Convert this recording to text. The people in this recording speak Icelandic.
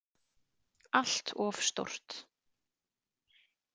Allt of stórt.